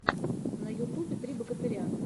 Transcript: на ютубе три богатыря